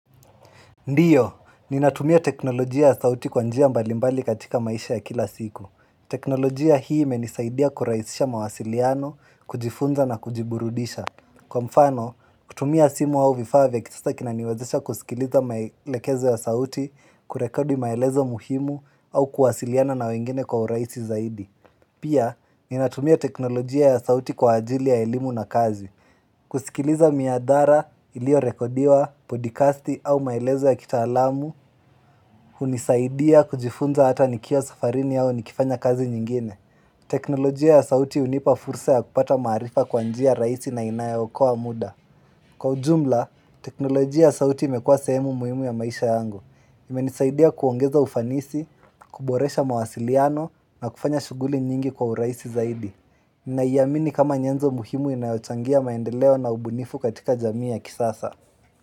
Ndiyo, ninatumia teknolojia ya sauti kwa njia mbalimbali katika maisha ya kila siku. Teknolojia hii imenisaidia kuraisisha mawasiliano, kujifunza na kujiburudisha. Kwa mfano, kutumia simu au vifaa vya kisasa kinaniwezesha kusikiliza maelekezo ya sauti, kurekodi maelezo muhimu au kuwasiliana na wengine kwa uraisi zaidi. Pia, ninatumia teknolojia ya sauti kwa ajili ya elimu na kazi. Kusikiliza miadhara iliorekodiwa, podikasti au maelezo ya kitaalamu unisaidia kujifunza hata nikiwa safarini au nikifanya kazi nyingine teknolojia ya sauti unipa fursa ya kupata maarifa kwa njia rahisi na inayookoa muda. Kwa ujumla, teknolojia ya sauti imekua sehemu muhimu ya maisha yangu. Imenisaidia kuongeza ufanisi, kuboresha mawasiliano na kufanya shuguli nyingi kwa urahisi zaidi. Naiamini kama nyenzo muhimu inayochangia maendeleo na ubunifu katika jamii ya kisasa.